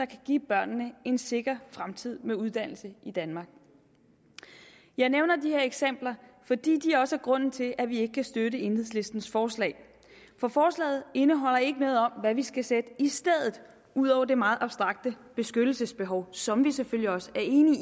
give børnene en sikker fremtid med uddannelse i danmark jeg nævner de her eksempler fordi de også er grunden til at vi ikke kan støtte enhedslistens forslag for forslaget indeholder ikke noget om hvad vi skal sætte i stedet ud over det meget abstrakte beskyttelsesbehov som vi selvfølgelig også er enige